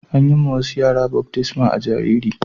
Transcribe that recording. An yi ma wasu yara baftisma a'jariri.